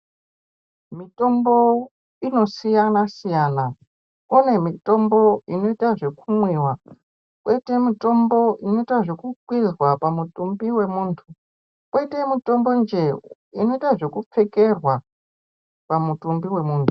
Mitombo inosiyansiyana, panemitombo inoitwa zvekumwiwa ,kwoite mitombo inoitwe zvekukwizha pamutumbi wenhu ,kwoite mitombo njee inoitwe kupfekerwa pamutumbi wemunhu.